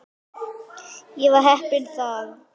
Ég var heppinn þar.